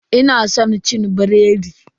Ina san cin biredi.